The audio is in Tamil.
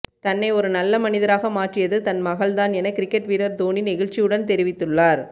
தன்னை ஒரு நல்ல மனிதராக மாற்றியது தன் மகள் தான் என கிரிக்கெட் வீரர் தோனி நெகிழ்ச்சியுடன் தெரிவித்துள்ளார்